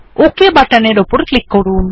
okay বাটনের উপর click করুন